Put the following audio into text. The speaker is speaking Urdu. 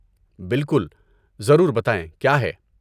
بالکل، ضرور بتائیں کیا ہے۔